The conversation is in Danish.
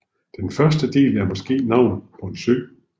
Den første del er måske navnet på en sø